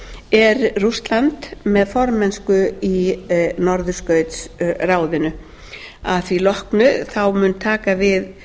er rússland með formennsku í norðurskautsráðinu að því loknu munu taka við